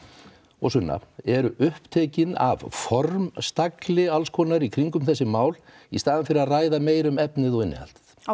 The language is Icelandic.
og Sunna eru upptekin af formstagli alls konar í kringum þessi mál í staðinn fyrir að ræða meira um efnið og innihaldið